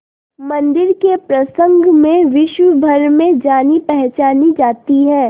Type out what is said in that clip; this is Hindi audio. मंदिर के प्रसंग में विश्वभर में जानीपहचानी जाती है